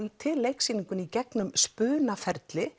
til leiksýninguna í gegnum